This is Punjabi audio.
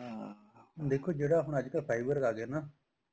ਹਾਂ ਦੇਖੋ ਅੱਜਕਲ ਜਿਹੜਾ ਆਪਣਾ fibers ਆ ਗਏ ਨਾ